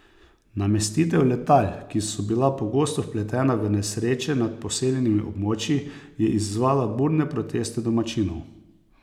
Namestitev letal, ki so bila pogosto vpletena v nesreče nad poseljenimi območji, je izzvala burne proteste domačinov.